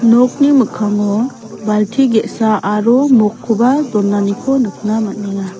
nokni mikkango balti ge·sa aro mokkoba donaniko nikna man·enga.